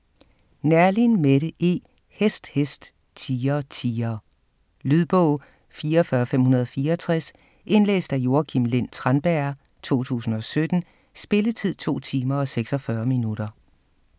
Neerlin, Mette E.: Hest, hest, tiger, tiger Lydbog 44564 Indlæst af Joakim Lind Tranberg, 2017. Spilletid: 2 timer, 46 minutter.